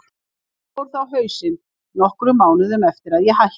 Enda fór það á hausinn nokkrum mánuðum eftir að ég hætti.